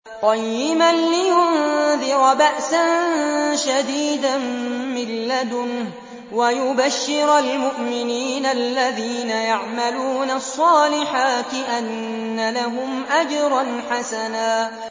قَيِّمًا لِّيُنذِرَ بَأْسًا شَدِيدًا مِّن لَّدُنْهُ وَيُبَشِّرَ الْمُؤْمِنِينَ الَّذِينَ يَعْمَلُونَ الصَّالِحَاتِ أَنَّ لَهُمْ أَجْرًا حَسَنًا